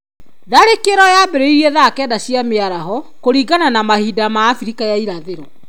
Tharĩkĩro yaambĩrĩirie thaa kenda cia mĩaraho, kũringana na mahinda ma Abirika ya Irathĩro.